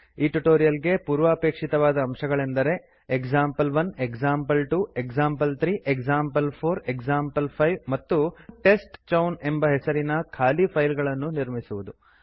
ಈ ಟ್ಯುಟೋರಿಯಲ್ ಗೆ ಪೂರ್ವಾಪೇಕ್ಷಿತವಾದ ಅಂಶಗಳೆಂದರೆ example one example two example three example four example five ಮತ್ತು ಟೆಸ್ಟ್ಚೌನ್ ಹೆಸರಿನ ಖಾಲಿ ಫೈಲ್ಗಳನ್ನು ನಿರ್ಮಿಸುವುದು